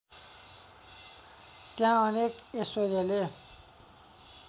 त्यहाँ अनेक ऐश्वर्यले